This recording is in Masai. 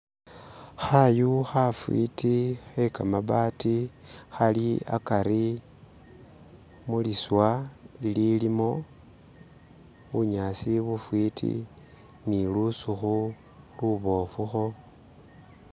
Khayu khafwiti khe kamabaati, khali akari muliswa ililimu bunyasi bufwiti ni lusukhu luboofu kho.....